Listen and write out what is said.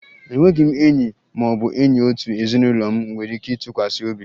Enweghị m enyi ma ọ bụ onye òtù ezinụlọ m nwere ike ịtụkwasị obi